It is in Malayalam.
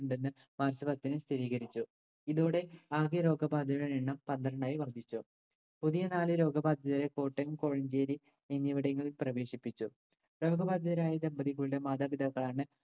ഉണ്ടെന്ന് മാർച്ച് പത്തിന് സ്ഥിരീകരിച്ചു. ഇതോടെ ആകെ രോഗബാധിതരുടെ എണ്ണം പന്ത്രണ്ടായി വർദ്ധിച്ചു. പുതിയ നാല് രോഗബാധിതരെ കോട്ടയം കോഴഞ്ചേരി എന്നിവിടങ്ങളിൽ പ്രവേശിപ്പിച്ചു. രോഗബാധിതരായ ദമ്പതികളുടെ മാതാപിതാക്കളാണ്